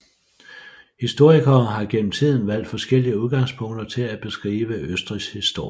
Historikere har gennem tiden valgt forskellige udgangspunkter til at beskrive Østrigs historie